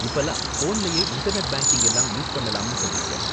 இப்பலாம் ஃபோன்லயே internet banking எல்லாம் யூஸ் பண்ணலாம்னு சொன்னாங்க.